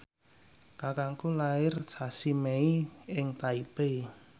kakangku lair sasi Mei ing Taipei